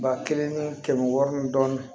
Ba kelen ni kɛmɛ wɔɔrɔ ni dɔɔnin